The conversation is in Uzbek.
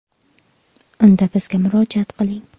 Unda bizga murojaat qiling.